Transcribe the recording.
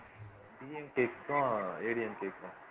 DMK க்கும் ADMK க்கும்